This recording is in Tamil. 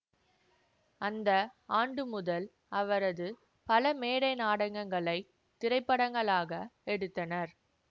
அந்த ஆண்டு முதல் அவரது பல மேடை நாடகங்களைத் திரைப்படங்களாக எடுத்தனர்